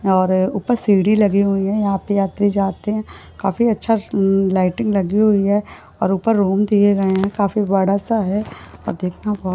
और ऊपर सीढ़ी लगे हुई है यहा पे आते-जाते काफी अच्छा ल-लाइटिंग लगी हुई है और ऊपर रुम दिए गए है काफी बड़ा सा है और देखना ब --